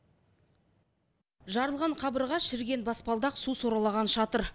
жарылған қабырға шіріген баспалдақ су сорғалаған шатыр